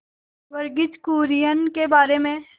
वर्गीज कुरियन के बारे में